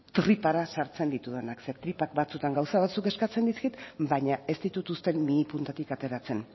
tripara sartzen ditudanak zeren tripak batzuetan gauza batzuk eskatzen dizkit baina ez ditut uzten mihi puntatik ateratzen